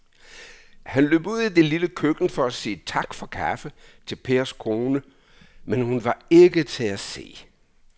Han løb ud i det lille køkken for at sige tak for kaffe til Pers kone, men hun var ikke til at se.